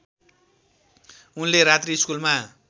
उनले रात्रिस्कुलमा